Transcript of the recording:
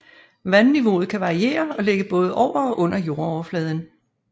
Vandniveauet kan variere og ligge både over og under jordoverfladen